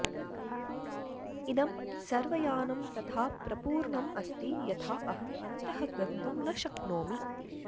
इदं सर्वयानं तथा प्रपूर्णम् अस्ति यथा अहम् अन्तः गन्तुं न शक्नोमि